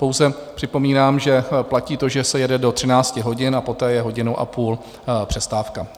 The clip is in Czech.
Pouze připomínám, že platí to, že se jede do 13 hodin, poté je hodinu a půl přestávka.